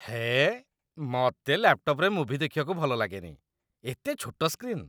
ହେଏ, ମତେ ଲ୍ୟାପ୍‌ଟପ୍‌ରେ ମୁଭି ଦେଖିବାକୁ ଭଲଲାଗେନି । ଏତେ ଛୋଟ ସ୍କ୍ରିନ୍!